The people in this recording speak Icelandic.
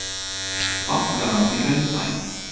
Bankarán í Hraunbæ